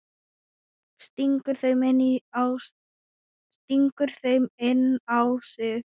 Stingur þeim inn á sig.